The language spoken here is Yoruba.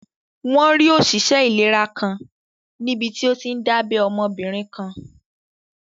Wọ́n rí òṣìṣẹ́ ìlera kan níbití ó tíí n dábẹ́ ọmọbìnrin kan